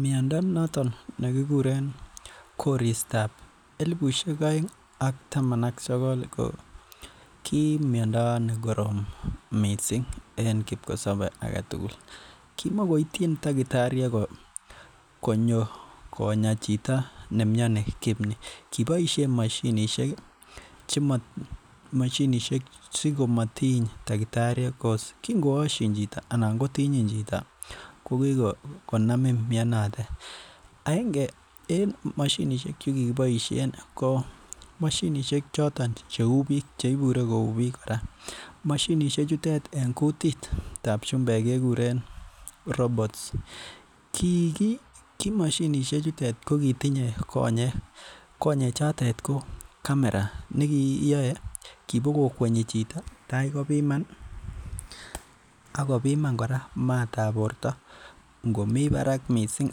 Miando noton nekikuren koristab elibusiek aeng ak taman ak sogol ki miando nekorom missing en kikisabe agetugul. Kimokoityin takitariek ko konyo Kona chito ki ni kobaisien mashi5simotiny takitariek, kikongashin chito anan ko Tintin chito ko Kiko Amin mianotetaenge en moshinisiek chekikiboisien ko mashinisiek choton cheuu bik anan cheibure kouu bik kora mashinisiek chutet en kutitab chumbek kekuren robots kiki mashinisiek chutet ko kotinye konyek konyek chotet ko kamera nekiyae kibogo kwenyi chito taikobiman Ako biman matab borta ingo mi barak missing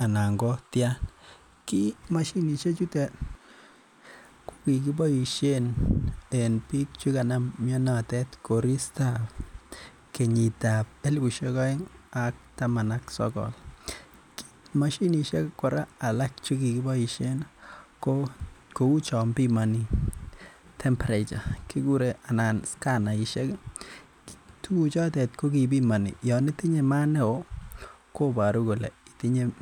anan kotian ki mashinisiek chetuten ko kikiboisien en bik cheganam mianotet koristab kenyitab elibusiek aeng ak taman ak sogol ko mashinisiek alak chekikiboishen ko kouu chon bimani temperature anan skanaishek tukuchotet kokibimani , Yoon itinye maat neoo kobaru kole itinye koristab elibusiek taman ak sokol.